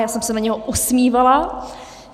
Já jsem se na něho usmívala.